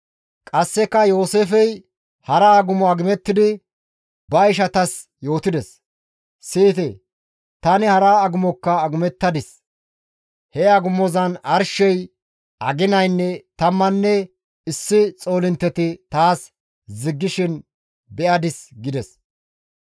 Qasseka Yooseefey hara agumo agumettidi ba ishanttas yootides; «Siyite; tani hara agumokka agumettadis; he agumozan arshey, aginaynne 11 xoolintteti taas ziggishin be7adis» gides.